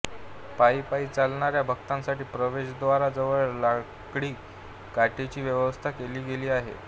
पायी पायी चालणाऱ्या भक्तांसाठी प्रवेश द्वारा जवळच लाकडी काठीची व्यवस्था केली गेली आहे